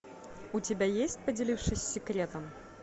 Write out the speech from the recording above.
у тебя есть поделившись секретом